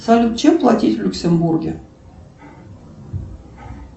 салют чем платить в люксембурге